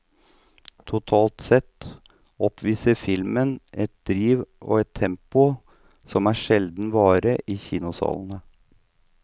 Totalt sett oppviser filmen et driv og et tempo som er sjelden vare i kinosalene.